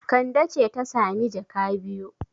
Kande ce ta sami jaka biyu.